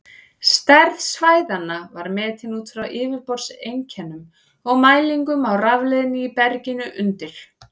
Stærð svæðanna var metin út frá yfirborðseinkennum og mælingum á rafleiðni í berginu undir.